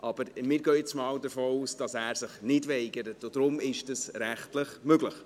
Aber wir gehen jetzt mal davon aus, dass er sich nicht weigern wird, und daher ist dies rechtlich möglich.